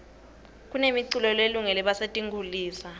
kunemi culo lelungore basetinkhulisa